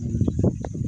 Sanunɛgɛnin yo warinɛgɛnin